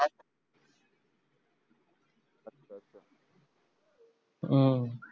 हु